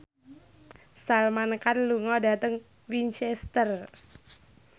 Salman Khan lunga dhateng Winchester